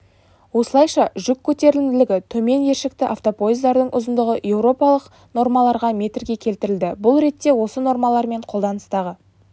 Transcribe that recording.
осылайша жүк көтерімділігі төмен ершікті автопоездардың ұзындығы еуропалық нормаларға метрге келтірілді бұл ретте осы нормалармен қолданыстағы